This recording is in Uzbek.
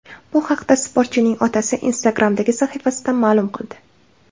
Bu haqda sportchining otasi Instagram’dagi sahifasida ma’lum qildi .